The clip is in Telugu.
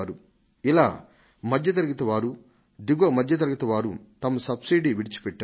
ఇలా మధ్య తరగతి వారు దిగువ మధ్య తరగతి వారు వీరు తమ సబ్సిడీని విడిచిపెట్టారు